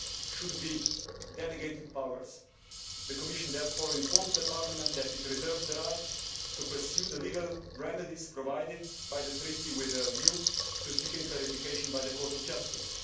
should be delegated powers. The Commission therefore informs Parliament that it reserves the right to pursue the legal remedies provided by the Treaty with a view to seeking clarification from the Court of Justice.